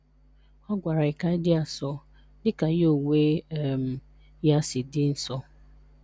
Ọ gwara anyị kanyi di asọ dika ya onwe um ya si dị nsọ"